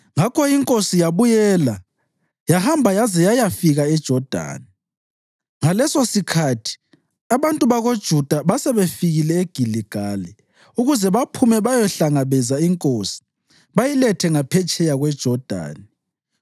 Ngakho inkosi yabuyela yahamba yaze yayafika eJodani. Ngalesosikhathi abantu bakoJuda basebefikile eGiligali ukuze baphume bayehlangabeza inkosi bayilethe ngaphetsheya kweJodani.